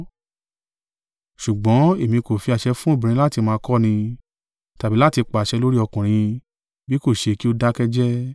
Ṣùgbọ́n èmi kò fi àṣẹ fún obìnrin láti máa kọ́ni, tàbí láti pàṣẹ lórí ọkùnrin, bí kò ṣe kí ó dákẹ́ jẹ́ẹ́.